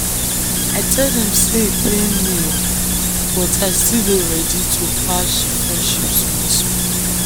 i tell dem sey e pain me but i still dey ready to patch the friendship small small.